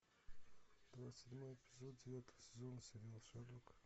двадцать седьмой эпизод девятого сезона сериала шерлок